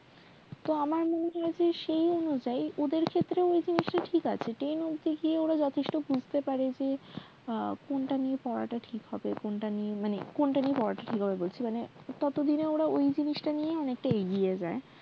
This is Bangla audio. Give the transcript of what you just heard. তো আমার মনে হয় সেই অনুযায়ী ওদের ক্ষেত্রে ওই জিনিস টা ঠিক আছে ten অবধি গিয়ে ওরা বুঝতে পারে যে কোন জিনিসটা নিয়ে পড়া ঠিক হবে মানে পড়া ঠিক হবে সেটা না আসলে তারা সেই জিনিসটা নিয়ে অনেকটা এগিয়ে যায়